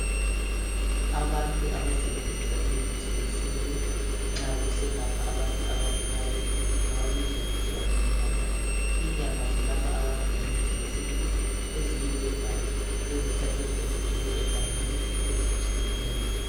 abantu abasebenzisa imithi yesinto nxa beselapha abantu abagulayo bababiza kuthiwa zinyanga ,inyanga zelapha abantu nge mithi yesintu eziyigebha ezihlahleni ezigcwele egangeni ezitshiyeneyo